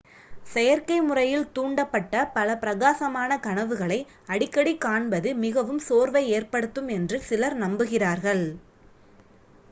செயற்கைமுறையில் தூண்டப்பட்ட பல பிரகாசமான கனவுகளை அடிக்கடிக் காண்பது மிகவும் சோர்வை ஏற்படுத்தும் என்று சிலர் நம்புகிறார்கள்